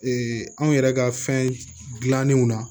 anw yɛrɛ ka fɛn dilannenw na